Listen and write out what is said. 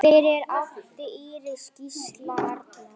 Fyrir átti Íris Gísla Arnar.